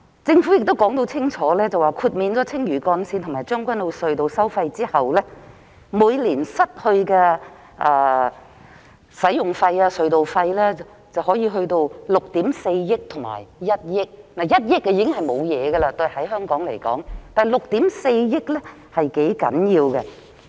政府已經說得很清楚，豁免青嶼幹線和將軍澳隧道收費後，每年因此失去的使用費/隧道費收入分別可達至6億 4,000 萬元和1億元 ——1 億元在香港來說已經不算甚麼了，但6億 4,000 萬元則是頗大的數目。